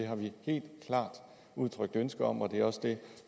har vi helt klart udtrykt ønske om og det er også det